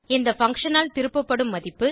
இந்த பங்ஷன் ஆல் திருப்பப்படும் மதிப்பு